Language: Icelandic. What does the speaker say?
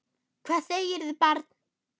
Hvað segirðu barn?